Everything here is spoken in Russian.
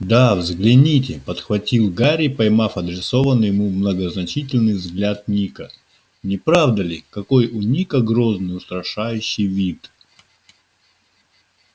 да взгляните подхватил гарри поймав адресованный ему многозначительный взгляд ника не правда ли какой у ника грозный устрашающий вид